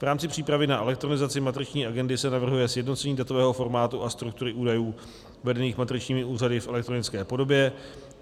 V rámci přípravy na elektronizaci matriční agendy se navrhuje sjednocení datového formátu a struktury údajů vedených matričními úřady v elektronické podobě.